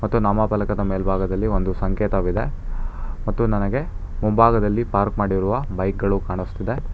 ಮತ್ತು ನಾಮಪಲಕದ ಮೇಲ್ಭಾಗದಲ್ಲಿ ಒಂದು ಸಂಕೇತವಿದೆ ಮತ್ತು ನನಗೆ ಮುಂಭಾಗದಲ್ಲಿ ಪಾರ್ಕ್ ಮಾಡಿರುವ ಬೈಕ್ ಗಳು ಕಾಣುಸ್ತಿದೆ.